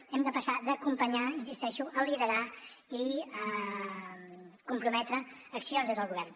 hem de passar d’acompanyar insisteixo a liderar i comprometre accions des del govern